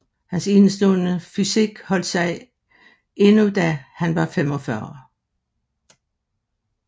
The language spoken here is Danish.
Hans enestående fysik holdt sig endnu da han var 45